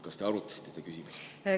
Kas te arutasite seda küsimust?